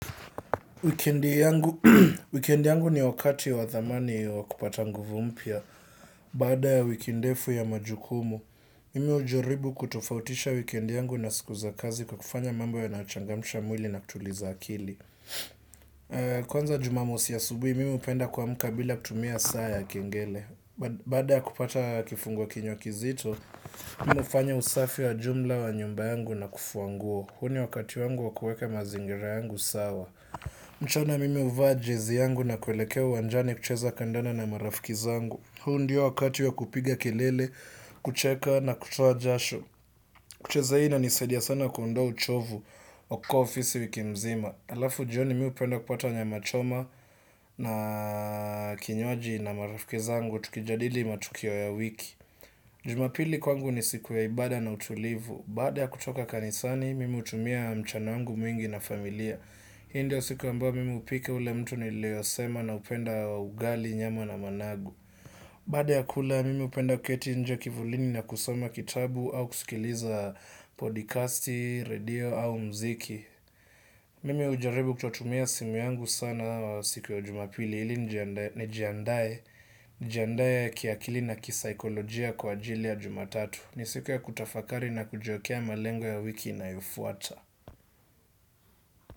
Wikendi yangu ni wakati wa thamani wa kupata nguvu mpya. Baada ya wiki ndefu ya majukumu, mimi hujaribu kutofautisha wikendi yangu na siku za kazi kwa kufanya mambl yanayochangamcha mwili na kutuliza akili. Kwanza Jumamosi asubuhi, mimi hupenda kuamka bila kutumia saa ya kengele. Baada ya kupata kifungua kinywa kizito, mimi nafanya usafi wa jumla wa nyumba yangu na kufua nguo. Huu ni wakati wangu wa kuweka mazingira yangu sawa. Mchana mimi huvaa jezi yangu na kuelekea uwanjani kucheza kandanda na marafiki zangu. Huu ndiyo wakati wa kupiga kelele, kucheka na kutua jasho. Kucheza hii inanisaidia sana kuondoa uchovu wa kukaa ofisi wiki mzima. Alafu jioni mi hupenda kupata nyama choma na kinywaji na marafiki zangu tukijadili matukio ya wiki. Jumapili kwangu ni siku ya ibada na utulivu. Baada ya kutoka kanisani, mimi hutumia mchana wangu mwingi na familia. Hi ndiyo siku ambao mimi hupika ule mtu nileosema naupenda wa ugali nyama na managu. Baada ya kula mimi hupenda kuketi nje kivulini na kusoma kitabu au kusikiliza podcasti, radio au mziki. Mimi hujaribu kutotumia simu yangu sana siku ya Jumapili ili nijiandae njiandae kiakili na kisaikolojia kwa ajili ya Jumatatu. Ni siku ya kutafakari na kujiwekea malengo ya wiki inayofuata.